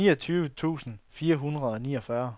niogtyve tusind fire hundrede og niogfyrre